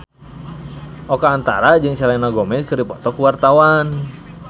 Oka Antara jeung Selena Gomez keur dipoto ku wartawan